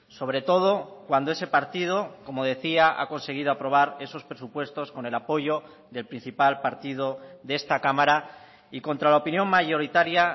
sobre todo cuando ese partido como decía ha conseguido aprobar esos presupuestos con el apoyo del principal partido de esta cámara y contra la opinión mayoritaria